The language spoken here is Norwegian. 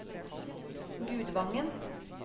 Gudvangen